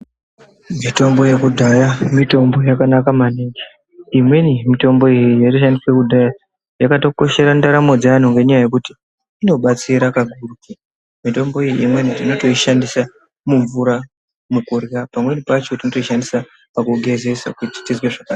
Mitombo yekudaya, mitombo yakanaka maningi. Imweni mitombo iyi yayishandiswe kudaya yakatokoshera ndaramo dzevanhu ngenyaya yokuti inobatsira kakurutu. Mitombo iyoyi imweni unotoyishandisa mumvura, mukudlya. Pamweni pacho totoyishandisa pakugezesa kuti tizve zvakanaka.